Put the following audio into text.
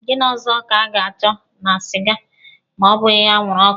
Gịnị ọzọ ka a ga-achọ na siga, ma ọ bụghị anwụrụ ọkụ.